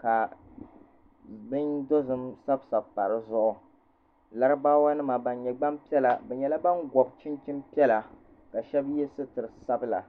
ka bin dozim sabi sabi pa di zuɣu laribaawa nima ban nyɛ gbanpiɛla bi nyɛla ban gɔbi chinchin piɛla ka shɛba yɛ sitira sabila.